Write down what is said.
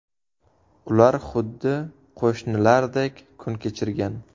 Ular xuddi qo‘shnilardek kun kechirgan.